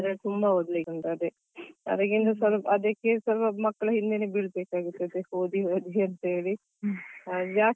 ಅಂದ್ರೆ ತುಂಬಾ ಓದ್ಲಿಕ್ಕೆ ಉಂಟು ಅದೇ ಅದಿಕ್ಕೆ ಮಕ್ಕಳಿಗೆ ಈಗ ಸ್ವಲ್ಪ ಹಿಂದೇನೆ ಬೀಳ್ಬೇಕಾಗ್ತದೆ ಓದಿ ಓದಿ ಅಂತ ಹೇಳಿ.